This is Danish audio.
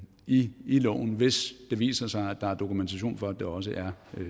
i loven hvis det viser sig at der er dokumentation for at de også er